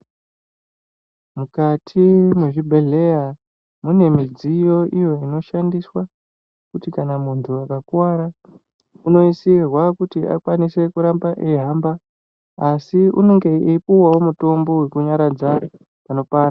Mukati mwezvibhedhleya, mune midziyo iyo inoshandiswa ,kuti kana muntu akakuwara unoisirwa kuti akwanise kuramba ,eihamba, asi unonge eipuwa mutombo wekunyaradza panopanda.